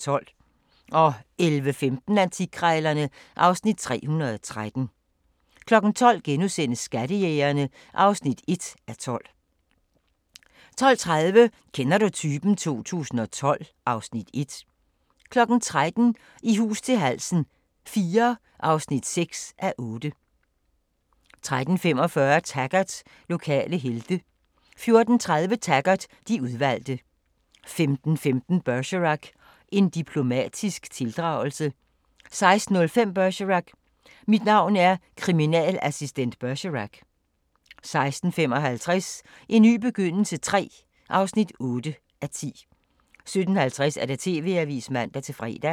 11:15: Antikkrejlerne (Afs. 313) 12:00: Skattejægerne (1:12)* 12:30: Kender du typen? 2012 (Afs. 1) 13:00: I hus til halsen IV (6:8) 13:45: Taggart: Lokale helte 14:30: Taggart: De udvalgte 15:15: Bergerac: En diplomatisk tildragelse 16:05: Bergerac: Mit navn er kriminalassistent Bergerac 16:55: En ny begyndelse III (8:10) 17:50: TV-avisen (man-fre)